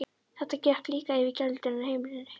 Þetta gekk líka yfir gæludýrin á heimilinu.